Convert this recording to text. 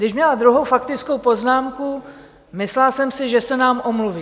Když měla druhou faktickou poznámku, myslela jsem si, že se nám omluví.